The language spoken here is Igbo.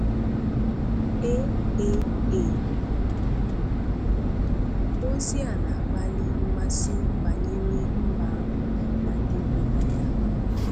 AAA!, Ozi a na-akpali mmasị banyere mbà ahụ na ndị bi na ya.